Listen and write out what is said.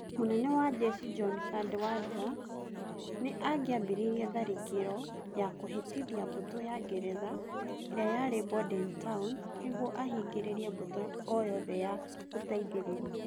munene wa njeshi John Cadwalder nĩ angĩambĩrĩirie tharĩkĩro ya kũhĩtithia mbũtũ ya Ngeretha ĩrĩa yarĩ Bordentown, nĩguo ahingĩrĩrie mbũtũ o yothe ya gũteithĩrĩria.